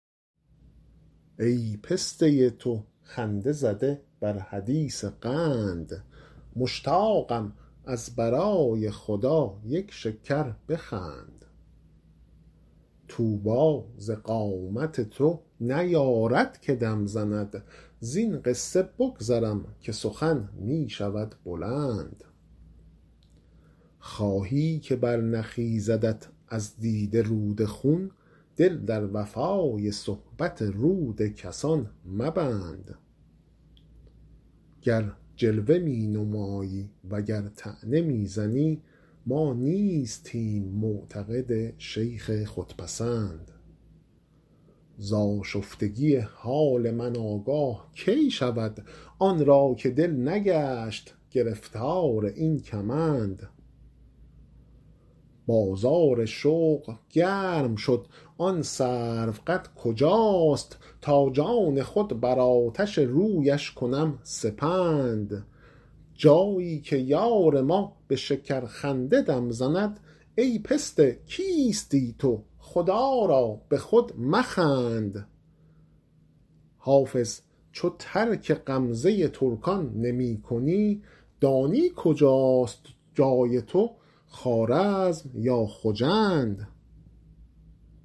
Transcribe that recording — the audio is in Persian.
ای پسته تو خنده زده بر حدیث قند مشتاقم از برای خدا یک شکر بخند طوبی ز قامت تو نیارد که دم زند زین قصه بگذرم که سخن می شود بلند خواهی که برنخیزدت از دیده رود خون دل در وفای صحبت رود کسان مبند گر جلوه می نمایی و گر طعنه می زنی ما نیستیم معتقد شیخ خودپسند ز آشفتگی حال من آگاه کی شود آن را که دل نگشت گرفتار این کمند بازار شوق گرم شد آن سروقد کجاست تا جان خود بر آتش رویش کنم سپند جایی که یار ما به شکرخنده دم زند ای پسته کیستی تو خدا را به خود مخند حافظ چو ترک غمزه ترکان نمی کنی دانی کجاست جای تو خوارزم یا خجند